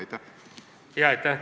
Aitäh!